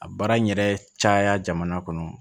A baara in yɛrɛ caya jamana kɔnɔ